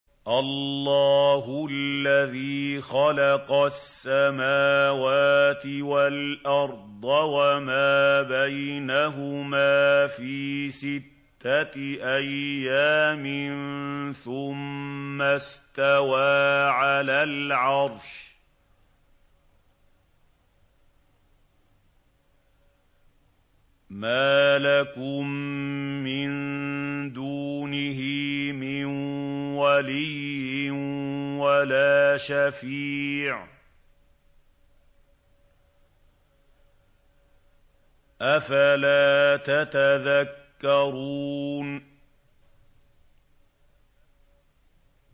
اللَّهُ الَّذِي خَلَقَ السَّمَاوَاتِ وَالْأَرْضَ وَمَا بَيْنَهُمَا فِي سِتَّةِ أَيَّامٍ ثُمَّ اسْتَوَىٰ عَلَى الْعَرْشِ ۖ مَا لَكُم مِّن دُونِهِ مِن وَلِيٍّ وَلَا شَفِيعٍ ۚ أَفَلَا تَتَذَكَّرُونَ